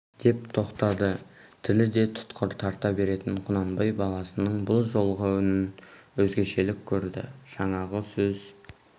деп тоқтады тілі де тұтқыр тарта беретін құнанбай баласының бұл жолғы үнін өзгешелік көрді жаңағы сөз